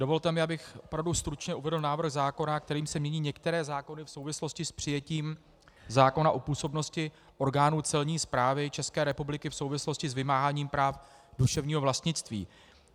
Dovolte mi, abych opravdu stručně uvedl návrh zákona, kterým se mění některé zákony v souvislosti s přijetím zákona o působnosti orgánů Celní správy České republiky v souvislosti s vymáháním práv duševního vlastnictví.